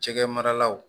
Jɛgɛ maralaw